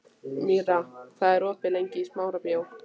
Míra, hvað er opið lengi í Smárabíói?